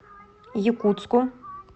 якутску